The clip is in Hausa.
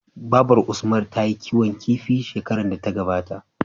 Babar usman tayi kiwon kifi shekarar da ta gabata